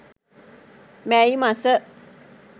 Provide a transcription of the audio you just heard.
මැයි මස